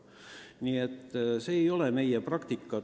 Nii et see ei ole meie tavaline praktika.